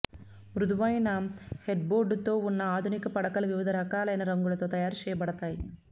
మృదువైన హెడ్బోర్డుతో ఉన్న ఆధునిక పడకలు వివిధ రకాలైన రంగులతో తయారు చేయబడతాయి